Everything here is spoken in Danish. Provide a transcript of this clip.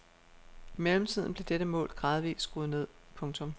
I mellemtiden blev dette mål gradvist skruet ned. punktum